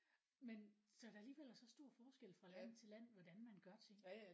Men så der alligevel er så stor forskel fra land til land på hvordan man gør ting